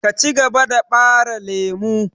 Cigaba da ɓare lemu!